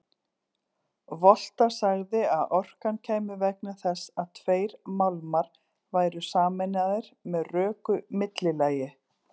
Volta sagði að orkan kæmi vegna þess að tveir málmar væru sameinaðir með röku millilagi.